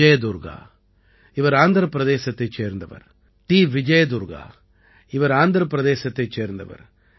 விஜய் துர்க்கா இவர் ஆந்திரப் பிரதேசத்தைச் சேர்ந்தவர்